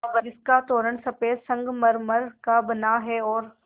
जिसका तोरण सफ़ेद संगमरमर का बना है और